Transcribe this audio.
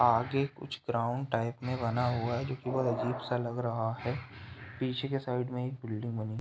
आगे कुछ ground type में बना हुआ है जो कि बहोत अजीब सा लग रहा है। पीछे की साइड में एक बिल्डिंग बनी --